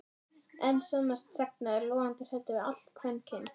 En sannast sagna er hann logandi hræddur við allt kvenkyn